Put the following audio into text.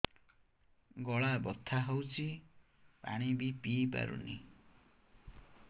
ଗଳା ବଥା ହଉଚି ପାଣି ବି ପିଇ ପାରୁନି